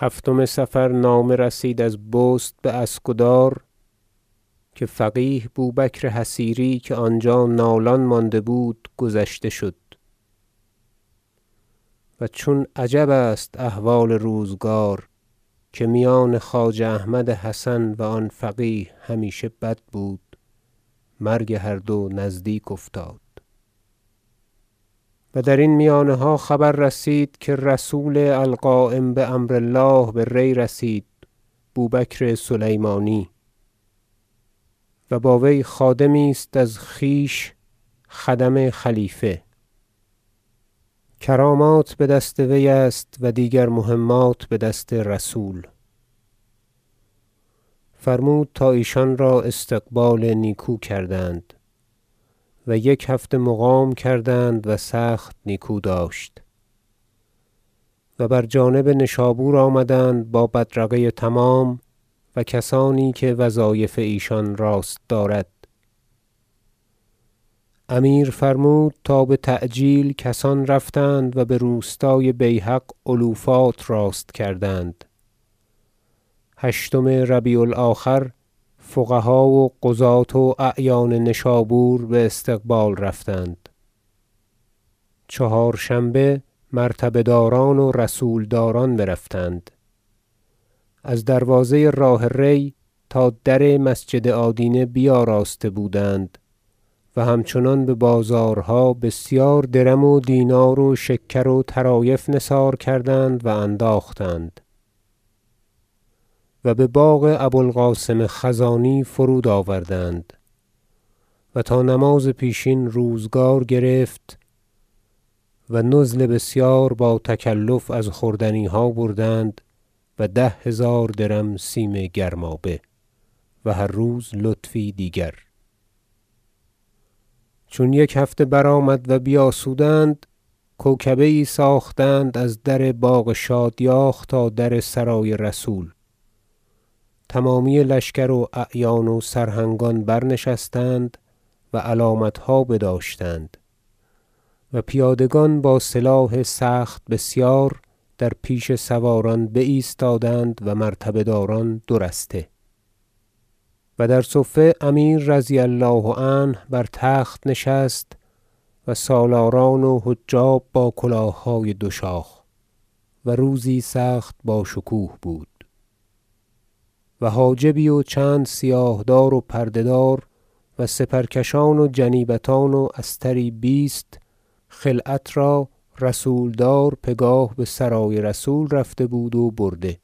هفتم صفر نامه رسید از بست باسکدار که فقیه بوبکر حصیری که آنجا نالان مانده بود گذشته شد و چون عجب است احوال روزگار که میان خواجه احمد حسن و آن فقیه همیشه بد بود مرگ هر دو نزدیک افتاد و درین میانها خبر رسید که رسول القایم بامر الله به ری رسید بوبکر سلیمانی و با وی خادمی است از خویش خدم خلیفه کرامات بدست وی است و دیگر مهمات بدست رسول فرمود تا ایشان را استقبال نیکو کردند و یک هفته مقام کردند و سخت نیکو داشت و بر جانب نشابور آمدند با بدرقه تمام و کسانی که وظایف ایشان راست دارد امیر فرمود تا بتعجیل کسان رفتند و بروستای بیهق علوفات راست کردند هشتم ربیع الآخر فقها و قضات و اعیان نشابور باستقبال رفتند چهارشنبه مرتبه داران و رسولداران برفتند از دروازه راه ری تا در مسجد آدینه بیاراسته بودند و همچنان ببازارها بسیار درم و دینار و شکر و طرایف نثار کردند و انداختند و بباغ ابو القاسم خزانی فرود آوردند و تا نماز پیشین روزگار گرفت و نزل بسیار با تکلف از خوردنیها بردند و ده هزار درم سیم گرمابه و هر روز لطفی دیگر چون یک هفته برآمد و بیاسودند کوکبه یی ساختند از در باغ شادیاخ تا در سرای رسول تمامی لشکر و اعیان و سرهنگان برنشستند و علامتها بداشتند و پیادگان با سلاح سخت بسیار در پیش سواران بایستادند و مرتبه داران دو رسته و در صفه امیر رضی الله عنه بر تخت نشست و سالاران و حجاب با کلاههای دوشاخ و روزی سخت باشکوه بود و حاجبی و چند سیاه دار و پرده دار و سپرکشان و جنیبتان و استری بیست خلعت را رسولدار پگاه بسرای رسول رفته بود و برده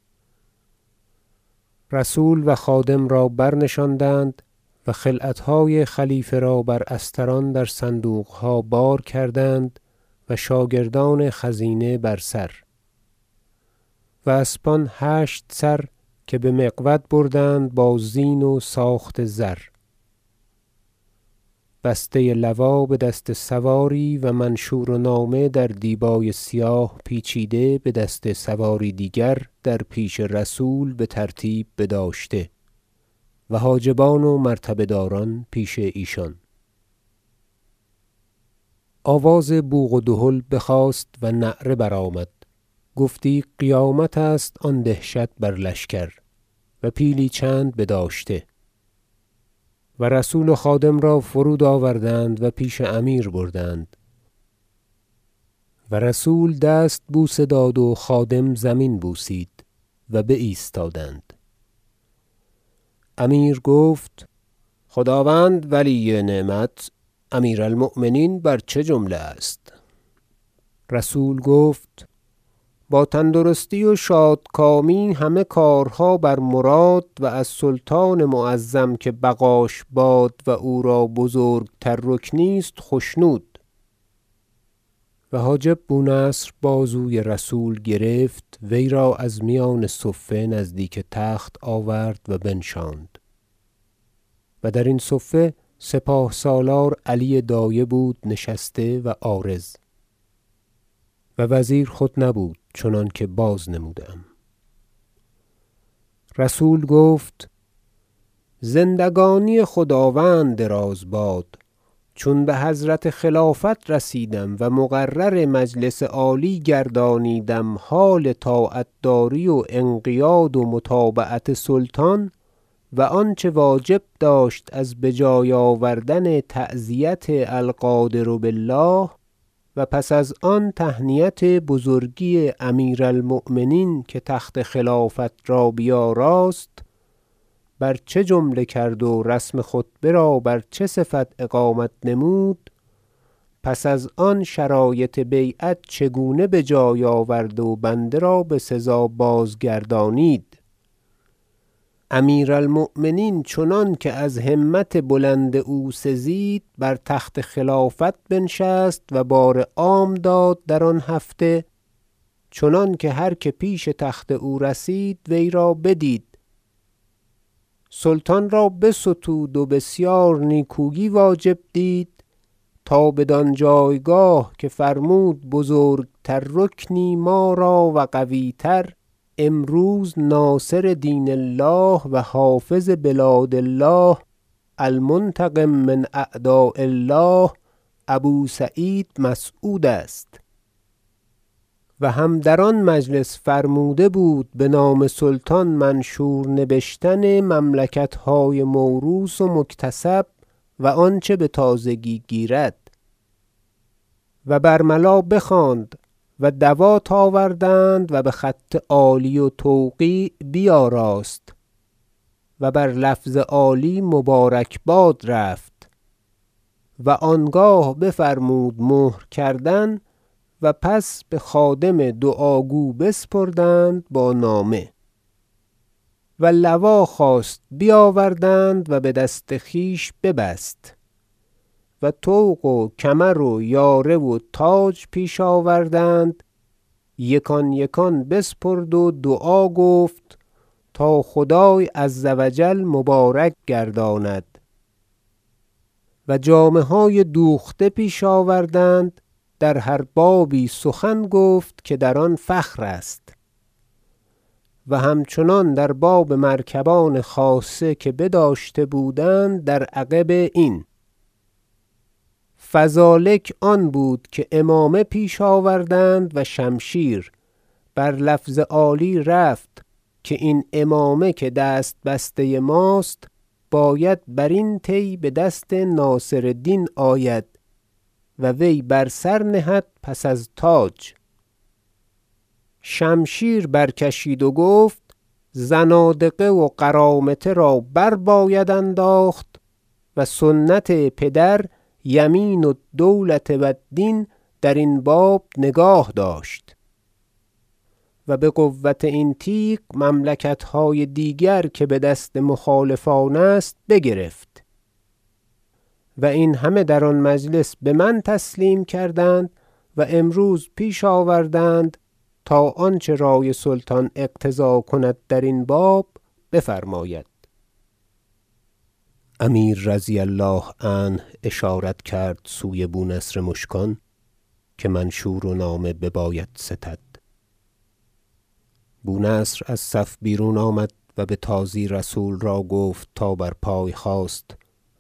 رسول و خادم را برنشاندند و خلعتهای خلیفه را بر استران در صندوقها بار کردند و شاگردان خزینه بر سر و اسبان هشت سر که بمقود بردند با زین و ساخت زر بسته لوا بدست سواری و منشور و نامه در دیبای سیاه پیچیده بدست سواری دیگر در پیش رسول بترتیب بداشته و حاجبان و مرتبه داران پیش ایشان آواز بوق و دهل بخاست و نعره برآمد گفتی قیامت است آن دهشت بر لشکر و پیلی چند بداشته و رسول و خادم را فرود آوردند و پیش امیر بردند و رسول دست بوسه داد و خادم زمین بوسید و بایستادند امیر گفت خداوند ولی نعمت امیر- المؤمنین بر چه جمله است رسول گفت با تندرستی و شادکامی همه کارها بر مراد و از سلطان معظم که بقاش باد و او را بزرگتر رکنی است خشنود و حاجب بونصر بازوی رسول گرفت وی را از میان صفه نزدیک تخت آورد و بنشاند و درین صفه سپاه سالار علی دایه بود نشسته و عارض و وزیر خود نبود چنانکه بازنموده ام رسول گفت زندگانی خداوند دراز باد چون بحضرت خلافت رسیدم و مقرر مجلس عالی گردانیدم حال طاعت داری و انقیاد و متابعت سلطان و آنچه واجب داشت از بجای آوردن تعزیت القادر بالله و پس از آن تهنیت بزرگی امیر المؤمنین که تخت خلافت را بیاراست بر چه جمله کرد و رسم خطبه را بر چه صفت اقامت نمود پس از آن شرایط بیعت چگونه بجای آورد و بنده را بسزا بازگردانید امیر المؤمنین چنانکه از همت بلند او سزید بر تخت خلافت بنشست و بار عام داد در آن هفته چنانکه هر که پیش تخت او رسید وی را بدید سلطان را بستود و بسیار نیکویی واجب دید تا بدان جایگاه که فرمود بزرگتر رکنی ما را و قویتر امروز ناصر دین الله و حافظ بلاد الله المنتقم من اعداء الله ابو سعید مسعود است و هم در آن مجلس فرموده بود بنام سلطان منشور نبشتن ملکتهای موروث و مکتسب و آنچه بتازگی گیرد و برملا بخواند و دوات آوردند و بخط عالی و توقیع بیاراست و بر لفظ عالی مبارکباد رفت و آنگاه بفرمود مهر کردند و پس بخادم دعا گو بسپردند با نامه و لوا خواست بیاوردند و بدست خویش ببست و طوق و کمر و یاره و تاج پیش آوردند یکان یکان بسپرد و دعا گفت تا خدای عز و جل مبارک گرداند و جامه های دوخته پیش آوردند در هر بابی سخن گفت که در آن فخر است و همچنان در باب مرکبان خاصه که بداشته بودند در عقب این فذلک آن بود که عمامه پیش آوردند و شمشیر و بر لفظ عالی رفت که این عمامه که دست بسته ماست باید برین طی بدست ناصر دین آید و وی بر سر نهد پس از تاج شمشیر برکشید و گفت زنادقه و قرامطه را برباید انداخت و سنت پدر یمین الدوله و الدین درین باب نگاه داشت و بقوت این تیغ مملکتهای دیگر که بدست مخالفان است بگرفت و این همه در آن مجلس بمن تسلیم کردند و امروز پیش آوردند تا آنچه رأی سلطان اقتضا کند درین باب بفرماید امیر رضی الله عنه اشارت کرد سوی بونصر مشکان که منشور و نامه بباید ستد بونصر از صف بیرون آمد و بتازی رسول را گفت تا بر پای خاست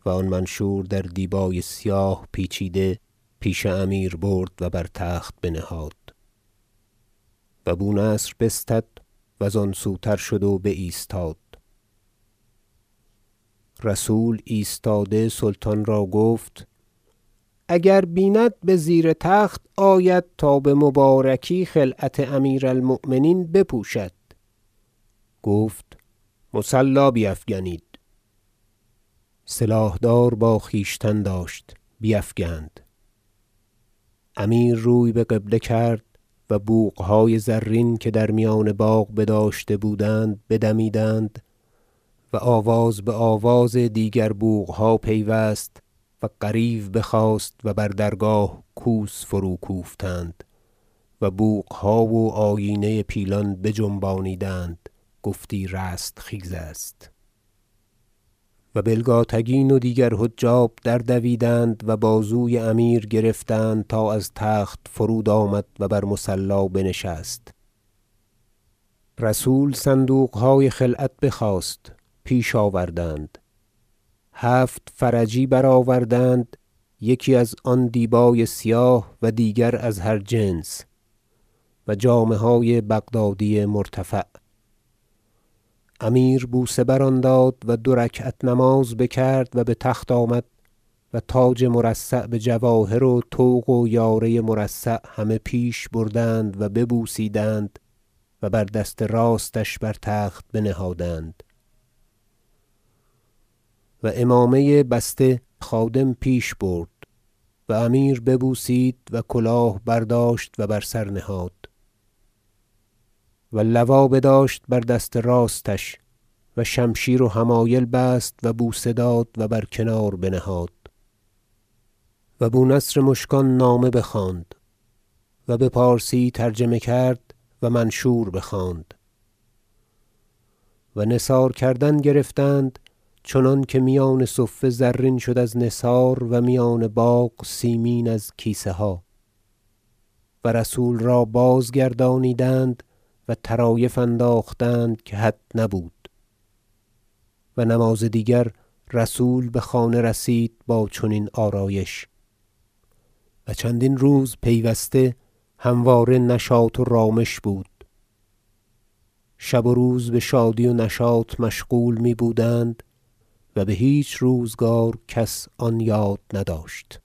و آن منشور در دیبای سیاه پیچیده پیش امیر برد و بر تخت بنهاد و بو نصر بستد و زان سوتر شد و بایستاد رسول ایستاده سلطان را گفت اگر بیند بزیر تخت آید تا بمبارکی خلعت امیر المؤمنین بپوشد گفت مصلی بیفگنید سلاح دار با خویشتن داشت بیفگند امیر روی بقبله کرد و بوقهای زرین که در میان باغ بداشته بودند بدمیدند و آواز بآواز دیگر بوقها پیوست و غریو بخاست و بر درگاه کوس فروکوفتند و بوقها و آیینه پیلان بجنبانیدند گفتی رستخیز است و بلگاتگین و دیگر حجاب دردویدند بازوی امیر گرفتند تا از تخت فرود آمد و بر مصلی بنشست رسول صندوقهای خلعت بخواست پیش آوردند هفت فرجی برآوردند یکی از آن دیبای سیاه و دیگر از هر جنس و جامه های بغدادی مرتفع امیر بوسه بر آن داد و دو رکعت نماز بکرد و بتخت آمد و تاج مرصع بجواهر و طوق و یاره مرصع همه پیش بردند و ببوسیدند و بر دست راستش بر تخت بنهادند و عمامه بسته خادم پیش برد و امیر ببوسید و کلاه برداشت و بر سر نهاد و لوا بداشت بر دست راستش و شمشیر و حمایل بست و بوسه داد و بر کنار بنهاد و بونصر مشکان نامه بخواند و بپارسی ترجمه کرد و منشور بخواند و نثار کردن گرفتند چنانکه میان صفه زرین شد از نثار و میان باغ سیمین از کیسه ها و رسول را بازگردانیدند و طرایف انداختند که حد نبود و نماز دیگر رسول بخانه رسید با چنین آرایش و چندین روز پیوسته همواره نشاط و رامش بود شب و روز بشادی و نشاط مشغول می بودند و بهیچ روزگار کس آن یاد نداشت